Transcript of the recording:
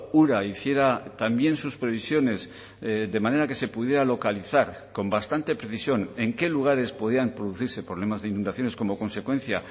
ura hiciera también sus previsiones de manera que se pudiera localizar con bastante precisión en qué lugares podían producirse problemas de inundaciones como consecuencia